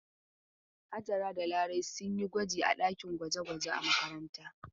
Hajara da Larai sun yi gwaji a ɗakin gwaje-gwaje a makaranta.